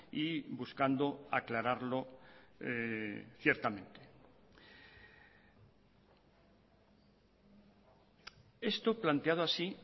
y buscando aclararlo ciertamente esto planteado así